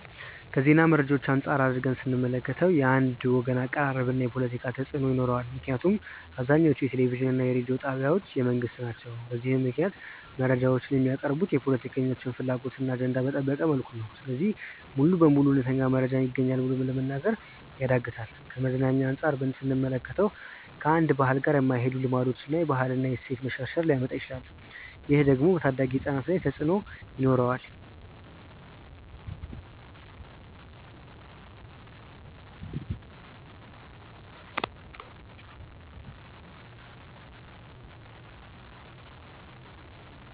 ከዜና መረጃዎች አንፃር አድርገን ስንመለከተው። የአንድ ወገን አቀራረብ እና ፖለቲካ ተፅእኖ ይኖረዋል ምክንያቱም አብዛኞቹ የቴሌቪዥን እና የሬዲዮ ጣቢያዎች የመንግስት ናቸው። በዚህም ምክንያት መረጃዎች የሚቀርቡት የፖለቲከኞችን ፍላጎት እና አጀንዳ በጠበቀ መልኩ ነው። ስለዚህ ሙሉ በሙሉ እውነተኛ መረጃ ይገኛል ብሎ ለመናገር ያዳግታል። ከመዝናኛ አንፃር ስንመለከተው። ከአንድን ባህል ጋር የማይሄዱ ልማዶችን እና የባህል እና የእሴት መሸርሸር ሊያመጣ ይችላል። ይህ ደግሞ በታዳጊ ህፃናት ላይ ተፅእኖ ይኖረዋል።